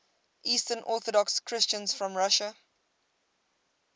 eastern orthodox christians from russia